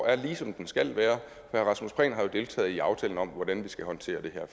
er ligesom den skal være herre rasmus prehn har jo deltaget i aftalen om hvordan vi skal håndtere